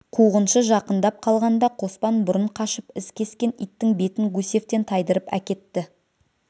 қуғыншы жақындап қалғанда қоспан бұрын қашып із кескен иттің бетін гусевтен тайдырып әкетті